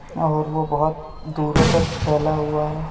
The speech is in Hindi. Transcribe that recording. और वो बहुत दुरो तक फैला हुआ है।